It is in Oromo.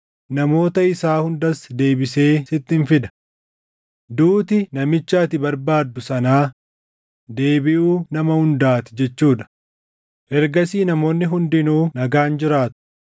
namoota isaa hundas deebisee sittin fida. Duuti namicha ati barbaaddu sanaa deebiʼuu nama hundaa ti jechuu dha; ergasii namoonni hundinuu nagaan jiraatu.”